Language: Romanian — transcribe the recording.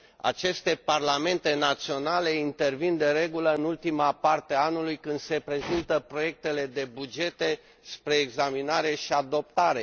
Aceste parlamente naționale intervin de regulă în ultima parte a anului, când se prezintă proiectele de bugete spre examinare și adoptare.